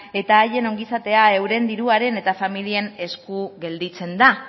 eta haien ongizatea euren diruaren eta familien esku gelditzen da